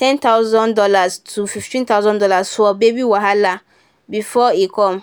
ten thousand dollars to fifteen thousand dollars for baby wahala before e come.